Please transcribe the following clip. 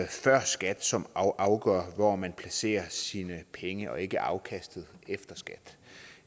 før skat som afgør hvor man placerer sine penge og ikke afkastet efter skat